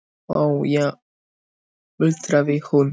Ó já muldraði hún.